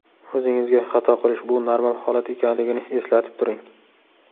O‘zingizga, xato qilish bu normal holat ekanligini eslatib turing.